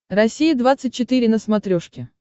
россия двадцать четыре на смотрешке